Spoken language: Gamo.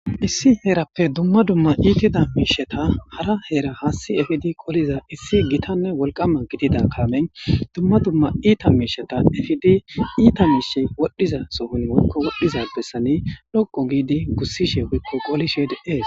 Issi heerappe dumma dumma iitida miisheta hara heera haasti efidi qoliza issi gitanne wolqama gidida kamen dumma dumma iita miisheta efidi iita miishi wodhdhiza sohon wokko wodhdhiza bessani dhoqo giidi gussishe wiikko qolisheed ees